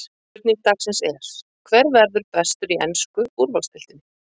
Spurning dagsins er: Hver verður bestur í ensku úrvalsdeildinni?